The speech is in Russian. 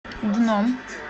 дном